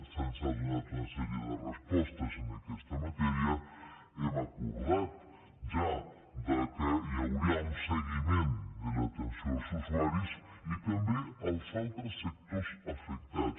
se’ns ha donat una sèrie de respostes en aquesta matèria hem acordat ja que hi hauria un seguiment de l’atenció als usuaris i també als altres sectors afectats